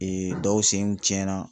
dɔw senw tiɲɛna